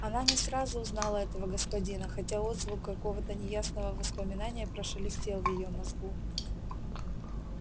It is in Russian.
она не сразу узнала этого господина хотя отзвук какого-то неясного воспоминания прошелестел в её мозгу